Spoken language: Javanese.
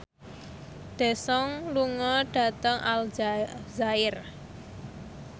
Daesung lunga dhateng Aljazair